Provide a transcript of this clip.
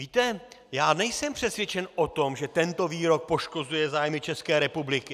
Víte, já nejsem přesvědčen o tom, že tento výrok poškozuje zájmy České republiky.